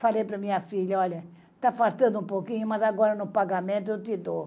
Falei para minha filha, olha, tá faltando um pouquinho, mas agora no pagamento eu te dou.